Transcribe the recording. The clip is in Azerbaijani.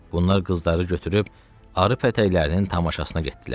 Bunlar qızları götürüb arı pətəklərinin tamaşasına getdilər.